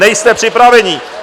Nejste připraveni!